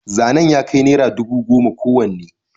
zanen ya kai naira dubu goma kowanne